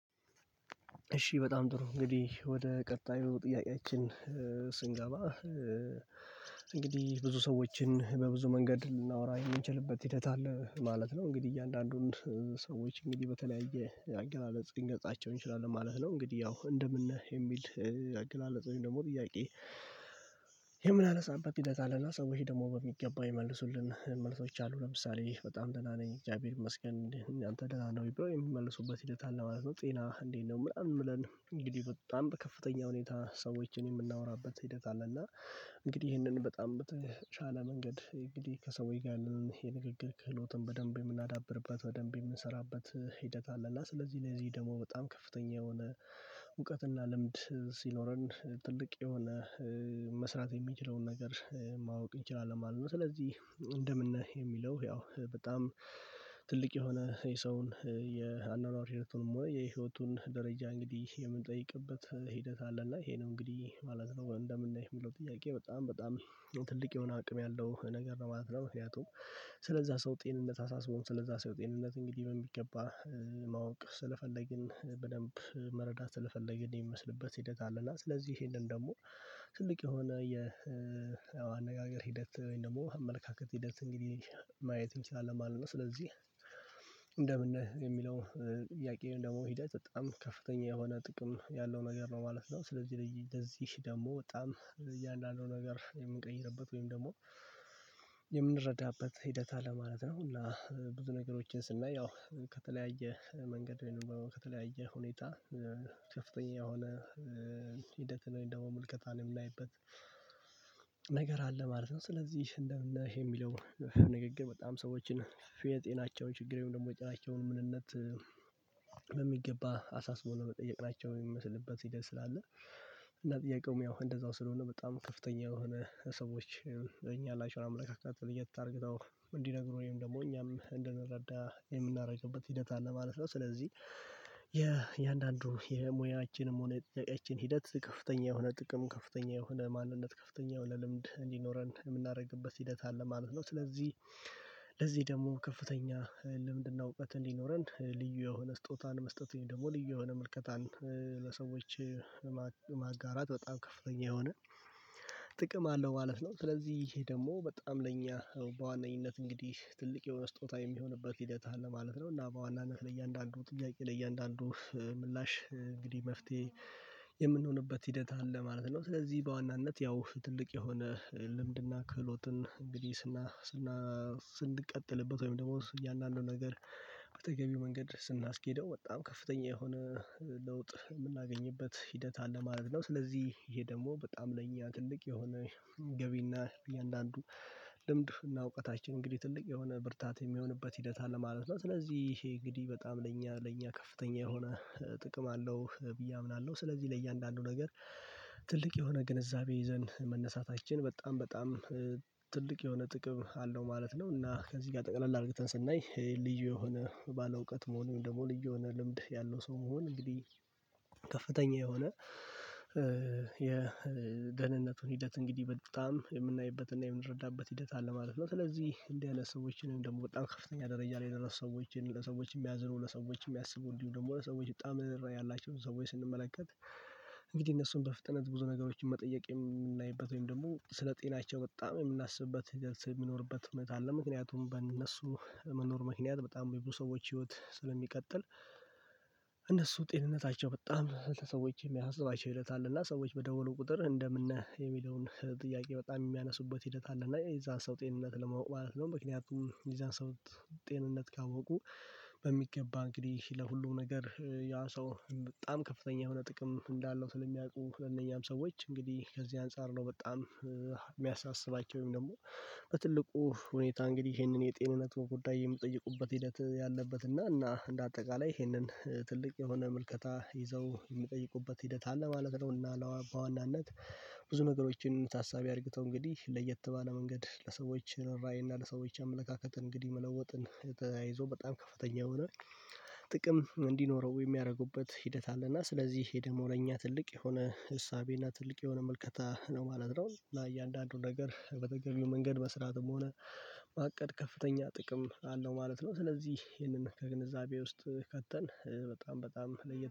እሺ በጣም ጥሩ እንግዲህ ወደ ቀጣዩ ጥያቄያችን ስንገባ እንግዲህ ብዙ ሰዎችን በብዙ መንገድ ልናወራ የምንችልበት ሂደት አለ ማለት ነው። እንግዲህ እያንዳንዱን ሰዎች እንግዲህ በተለያየ አገላለጽ ልንገልጻቸው እንችላለን ማለት ነው። እንግዲህ ያው እንደምን ነህ የሚል አገላለጽ ወይም ደግሞ ጥያቄ? የምን አነሳንበ ሂደት አለና ሰውች ደግሞ በሚገባ ይመለሱልን መልሶች አሉ ለምሳሌ በጣም ደህና ነኝ እግዚአብሔር ይመስገን እንዴት ነህ አንተ ደህና ነህ ወይ ብሎ የሚመልሱበት ሂደት አለ ማለት ነው። ጤና እንዴት ነው ምናምን ብለን እንግዲህ በጣም ከፍተኛ ሁኔታ ሰዎችን የምናወራበት ሂደት አለ። እና እንግዲህ ይህንን በጣም በተቻለ መንገድ እንግዲህ ከሰውዬ ጋር የንግግር ክህሎትን በደንብ የምናዳብርበት በደንብ የምንሰራበት ሂደት አለ። እና ስለዚህ ለዚህ ደግሞ በጣም ከፍተኛ የሆነ እውቀትና ልምድ ሲኖረን ትልቅ የሆነ መስራት የሚችለውን ነገር ማወቅ እንችላለን ማለት ነው። ስለዚህ እንደምን ነህ የሚለው ያው በጣም ትልቅ የሆነ የሰውን የአኗኗር ህይወቱንም ወይ የህይወቱን ደረጃ እንግዲህ የምንጠይቅበት ሂደት አለና ይሄ ነው እንግዲህ ማለት ነው እንደምነህ የሚለው ጥያቄ በጣም በጣም ትልቅ የሆነ አቅም ያለው ነገር ነው ማለት ነው። ምክንያቱም ስለዛ ሰው ጤንነት አሳስቦን ስለዛ ሰው ጤንነት እንግዲህ በሚገባ ማወቅ ስለፈለግን በደንብ መረዳት ስለፈለግን የሚመስልበት ሂደት አለና ስለዚህ ይሄንን ደግሞ ትልቅ የሆነ የ የአነጋገር ሂደት ወይም ደግሞ አመለካከት ሂደት እንግዲህ ማየት እንችላለን ማለት ነው። ስለዚህ እንደምን የሚለው ጥያቄ ወይም ደግሞ ሂደት በጣም ከፍተኛ የሆነ ጥቅም ያለው ነገር ነው ማለት ነው። ስለዚህ ለዚህ ደግሞ በጣም እያንዳንዱ ነገር የምንቀይርበት ወይም ደግሞ የምንረዳበት ሂደት አለ ማለት ነው። እና ብዙ ነገሮችን ስናይ ያው ከተለያየ መንገድ ከተለያየ ሁኔታ ከፍተኛ የሆነ ሂደትን ወይ ደግሞ ምልከታን የምናይበት ነገር አለ ማለት ነው። ስለዚህ እንደምን ነህ የሚለው ንግግር በጣም ሰዎችን የጤናቸውን ችግር ወይም ደግሞ የጤናቸውን ምንነት በሚገባ አሳስቦ ነው መጠየቅ ናቸው የሚመስልበት ሂደት ስላለ እና ጥያቄውም ያው እንደዛው ስለሆነ በጣም ከፍተኛ የሆነ ሰዎች እኛ ላይያላቸው አመለካከት ለየት አድርገው እንዲነግሩ ወይም ደግሞ እኛም እንደነረዳ የምናደርግበት ሂደት አለ ማለት ነው። ስለዚህ የእያንዳንዱ የሙያችንም ሆነ የጥያቄያችን ሂደት ከፍተኛ የሆነ ጥቅም ከፍተኛ የሆነ ማንነት ከፍተኛ የሆነ ልምድ እንዲኖረን የምናደርግበት ሂደት አለ ማለት ነው። ስለዚህ ለዚህ ደግሞ ከፍተኛ ልምድና እውቀት እንዲኖረን ልዩ የሆነ ስጦታን መስጠት ወይም ደግሞ ልዩ የሆነ ምልከታን ለሰዎች ማጋራት በጣም ከፍተኛ የሆነ ጥቅም አለው ማለት ነው። ስለዚህ ይሄ ደግሞ በጣም ለእኛ በዋነኝነት እንግዲህ ትልቅ የሆነ ስጦታ የሚሆንበት ሂደት አለ ማለት ነው እና በዋናነት ለእያንዳንዱ ጥያቄ ለእያንዳንዱ ምላሽ እንግዲህ መፍትሄ የምንሆንበት ሂደት አለ ማለት ነው። ስለዚህ በዋናነት ያው ትልቅ የሆነ ልምድና ክህሎትን እንግዲህ ስና ስና ስንቀጥልበት ወይም ደግሞ እያንዳንዱን ነገር በተገቢው መንገድ ስናስኬደው በጣም ከፍተኛ የሆነ ለውጥ የምናገኝበት ሂደት አለ ማለት ነው። ስለዚህ ይሄ ደግሞ በጣም ለእኛ ትልቅ የሆነ ገቢና እያንዳንዱ ልምድና እውቀታችን እንግዲህ ትልቅ የሆነ ብርታት የሚሆንበት ሂደት አለ ማለት ነው። ስለዚህ ይሄ እንግዲህ በጣም ለእኛ ለእኛ ከፍተኛ የሆነ ጥቅም አለው ብዬ አምናለሁ። ስለዚህ ለእያንዳንዱ ነገር ትልቅ የሆነ ግንዛቤ ይዘን መነሳታችን በጣም በጣም ትልቅ የሆነ ጥቅም አለው ማለት ነው። እና ከዚህ ጋር ጠቅለል አድርገን ስናይ ይሄ ልዩ የሆነ ባለእውቀት መሆኑን ወይም ደግሞ ልዩ የሆነ ልምድ ያለው ሰው መሆን እንግዲህ ከፍተኛ የሆነ የደህንነቱን ሂደት እንግዲህ በጣም የምናይበትና የምንረዳበት ሂደት አለ ማለት ነው። ስለዚህ እንዲህ ኣይነት ሰዎችን ደግሞ በጣም ከፍተኛ ደረጃ ላይ የደረሱ ሰዎች ለሰዎች የሚያዝሩ ለሰዎች የሚያስቡ እንዲሁ ደግሞ ለሰዎች በጣም የሚያዝሩ ያላቸው ሰዎች ስንመለከት እንግዲህ እነሱን በፍጥነት ብዙ ነገሮችን መጠየቅ የምናይበት ወይም ደግሞ ስለ ጤናቸው በጣም የምናስብበት የሚኖርበት እውነት አለ። ምክንያቱም በእነሱ መኖር ምክንያት በጣም የብዙ ሰዎች ህይወት ስለሚቀጥል እነሱ ጤንነታቸው በጣም ለሰዎች የሚያስባቸው ሂደት አለና ሰዎች በደወሉ ቁጥር እንደምነህ የሚለውን ጥያቄ በጣም የሚያነሱበት ሂደት አለ እና የዛን ሰው ጤንነት ለማወቅ ማለት ነው። ምክንያቱም የዛን ሰው ጤንነት ካወቁ በሚገባ እንግዲህ ለሁሉም ነገር ያ ሰው በጣም ከፍተኛ የሆነ ጥቅም እንዳለው ስለሚያውቁ ለእነኚህም ሰዎች እንግዲህ ከዚህ አንፃር ነው በጣም የሚያሳስባቸው ወይም ደግሞ በትልቁ ሁኔታ እንግዲህ ይሄንን የጤንነት በጉዳይ የምትጠይቁበት ሂደት ያለበት እና እና እንደ አጠቃላይ ይሄንን ትልቅ የሆነ ምልከታ ይዘው የሚጠይቁበት ሂደት አለ ማለት ነው። እና ለበዋናነት ብዙ ነገሮችን ታሳቢ አድርግተው እንግዲህ ለየት ባለ መንገድ ለሰዎች ርህራሄ እና ለሰዎች አመለካከት እንግዲህ መለወጥን የተያይዞ በጣም ከፍተኛ የሆነ ጥቅም እንዲኖረው የሚያደርጉበት ሂደት አለና ስለዚህ ይህ ደሞ ላኛ ትልቅ የሆነ እሳቤና ትልቅ የሆነ ምልከታ ነው ማለት ነው ለእያንዳንዱ ነገር በተገቢው መንገድ በስርአትም ሆነ ማቀድ ከፍተኛ ጥቅም አለው ማለት ነው። ስለዚህ ይሄንን ከግንዛቤ ውስጥ ከተን በጣም በጣም ለየት